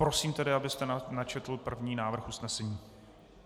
Prosím tedy, abyste načetl první návrh usnesení.